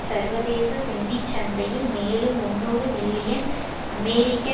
சர்வதேச நிதி சந்தையில் மேலும் முன்னூறு மில்லியன் அமெரிக்க